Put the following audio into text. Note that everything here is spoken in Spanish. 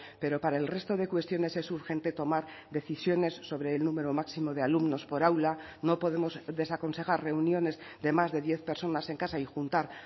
pero para el resto de cuestiones es urgente tomar decisiones sobre el número máximo de alumnos por aula no podemos desaconsejar reuniones de más de diez personas en casa y juntar